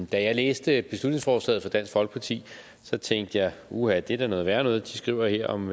da jeg læste beslutningsforslaget fra dansk folkeparti tænkte jeg uha det er da noget værre noget de skriver her om